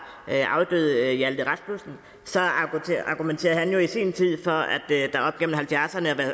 afdøde hjalte rasmussen så argumenterede han jo i sin tid for